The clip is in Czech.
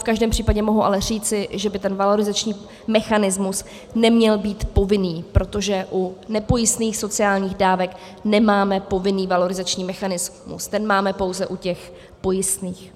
V každém případě mohu ale říci, že by ten valorizační mechanismus neměl být povinný, protože u nepojistných sociálních dávek nemáme povinný valorizační mechanismus, ten máme pouze u těch pojistných.